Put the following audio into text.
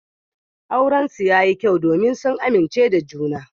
Aurensu yayi kyau domin sun amince da juna.